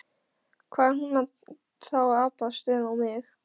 Hvað er hún þá að abbast upp á mig?